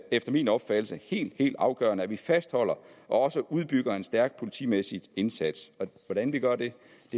efter min opfattelse helt helt afgørende at vi fastholder og udbygger en stærk politimæssig indsats hvordan vi gør det